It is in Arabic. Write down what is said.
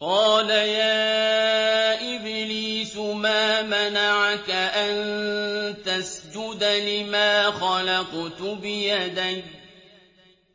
قَالَ يَا إِبْلِيسُ مَا مَنَعَكَ أَن تَسْجُدَ لِمَا خَلَقْتُ بِيَدَيَّ ۖ